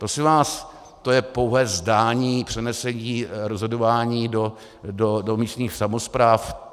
Prosím vás, to je pouhé zdání - přenesení rozhodování do místních samospráv.